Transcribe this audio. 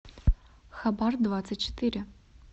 хабар двадцать четыре